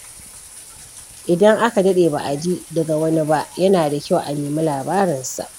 Idan aka daɗe ba a ji daga wani ba, yana da kyau a nemi labarinsa.